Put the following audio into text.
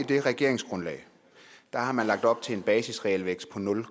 det regeringsgrundlag har man lagt op til en basisrealvækst på nul